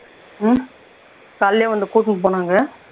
காலைலேயே வந்து கூட்டுனு போனாங்க